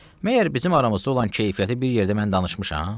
Məyər bizim aramızda olan keyfiyyəti bir yerdə mən danışmışam?